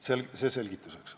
Nii palju selgituseks.